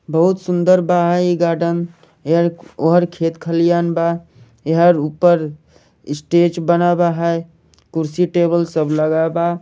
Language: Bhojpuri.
बहुत सुन्दर बा इ गार्डन एहर ओहर खेत खलियान बा एहर ऊपर स्टेज बना बा है कुर्सी टेबल सब लगा बा।